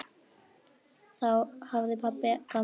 Þessu hafði pabbi gaman af.